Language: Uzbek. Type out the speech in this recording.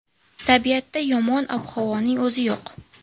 Tabiatda yomon ob-havoning o‘zi yo‘q.